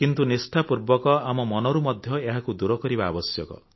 କିନ୍ତୁ ନିଷ୍ଠାପୂର୍ବକ ଆମ ମନରୁ ମଧ୍ୟ ଏହାକୁ ଦୂର କରିବା ଆବଶ୍ୟକ